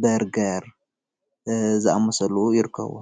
በርገር ዝኣመሰሉ ይርከብዎ፡፡